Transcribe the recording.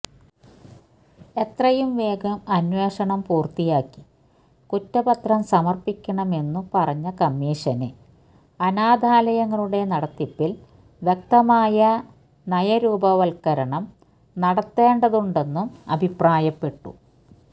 എത്രയും വേഗം അന്വേഷണം പൂര്ത്തിയാക്കി കുറ്റപത്രം സമര്പ്പിക്കണമെന്നു പറഞ്ഞ കമീഷന് അനാഥാലയങ്ങളുടെ നടത്തിപ്പിന് വ്യക്തമായ നയരൂപവത്കരണം നടത്തേണ്ടതുണ്ടെന്നും അഭിപ്രായപ്പെട്ടു